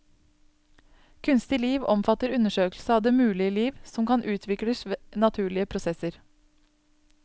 Kunstig liv omfatter undersøkelse av det mulige liv, som kan utvikles ved naturlige prosesser.